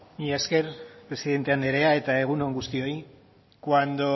mila esker presidente andrea eta egun on guztioi cuando